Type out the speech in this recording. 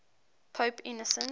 pope innocent